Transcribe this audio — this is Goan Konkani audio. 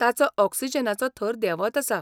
ताचो ऑक्सिजनाचो थर देंवत आसा.